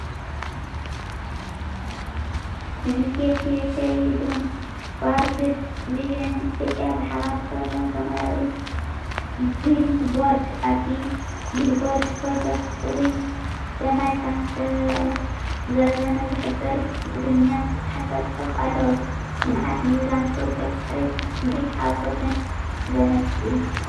ዩኒሴፍ፣ ዩኬይድን ዎርልድ ቪዥን ኢትዮጵያን ብሓባር ዝተሰርሑ ሰማያዊ ቢልቦርድ። ኣብቲ ቢልቦርድ ፕሮጀክት ፅሩይ ዝስተ ማይ ከምዝተዛዘመ ዝሕብር ብትግርኛ ዝተጻሕፈ ጽሑፍ ኣለዎ። ልምዓት፣ ምዝዛም ፕሮጀክት ፅሬትን ስምዒት ሓጎስን ዘመልክት እዩ።